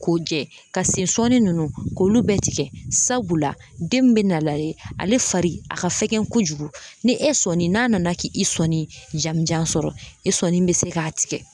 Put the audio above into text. K'o jɛ ka sensɔni nunnu k'olu bɛɛ tigɛ sabula den min bɛ nalen ale fari a ka fɛgɛn kojugu ni e sɔni n'a nana k'i sɔnni jamujan sɔrɔ i sɔni bɛ se k'a tigɛ.